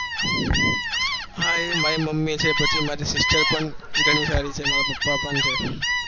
હા એ મારી મમ્મી છે, પછી મારી sister પણ ઘણી સારી છે, અને મારા પપ્પા પણ છે,